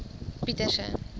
pieterse